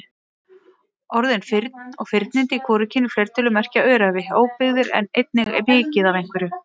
Orðin firn og firnindi í hvorugkyni fleirtölu merkja öræfi, óbyggðir en einnig mikið af einhverju.